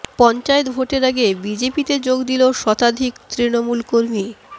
পঞ্চায়েত ভোটের আগে বিজেপিতে যোগ দিল শতাদিক তৃণমূল কর্মী